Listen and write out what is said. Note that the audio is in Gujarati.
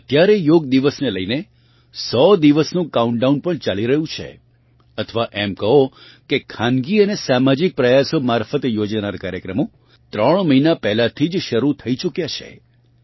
અત્યારે યોગ દિવસ ને લઇને 100 દિવસનું કાઉન્ટડાઉન પણ ચાલી રહ્યું છે અથવા એમ કહો કે ખાનગી અને સામાજિક પ્રયાસો મારફત યોજાનાર કાર્યક્રમે ત્રણ મહિના પહેલાંથી જ શરૂ થઇ ચૂક્યા છે